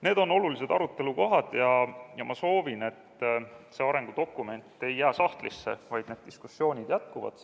Need on olulised arutelukohad ja ma soovin, et see arengudokument ei jää sahtlisse, vaid need diskussioonid jätkuvad.